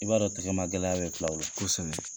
I b'a dɔn tigɛma gɛlɛya bɛ filaw la, kosɛbɛ.